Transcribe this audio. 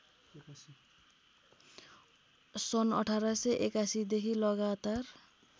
सन् १८८१ देखि लगातार